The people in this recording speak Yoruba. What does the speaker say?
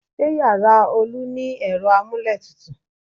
Ṣé yàrá Olu ni ẹ̀rọ amúlétutù?